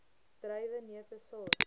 druiwe neute saad